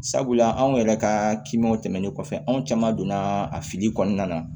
Sabula anw yɛrɛ ka kimanw tɛmɛnen kɔfɛ anw caman donna a fili kɔnɔna na